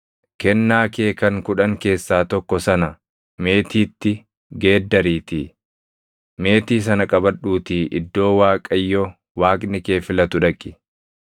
kennaa kee kan kudhan keessaa tokko sana meetiitti geeddariitii, meetii sana qabadhuutii iddoo Waaqayyo Waaqni kee filatu dhaqi.